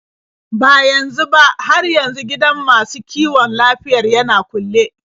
Ba yanzu ba, har yanzu gidan masu kiwon lafiyar yana kulle.